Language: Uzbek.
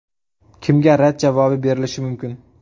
Kimga rad javobi berilishi mumkin?